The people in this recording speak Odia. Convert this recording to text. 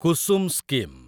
କୁସୁମ୍ ସ୍କିମ୍